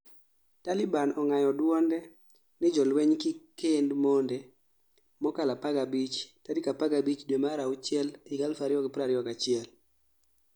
Taliban Ong'ayo duonde ni jo lueny kik kend monde mokalo 15 tarik 15 due mar achiel 2021